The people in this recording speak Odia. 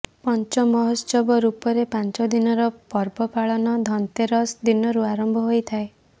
ପଞ୍ଚ ମହୋତ୍ସବ ରୂପରେ ପାଞ୍ଚଦିନର ପର୍ବ ପାଳନ ଧନତେରସ ଦିନରୁ ଆରମ୍ଭ ହୋଇଥାଏ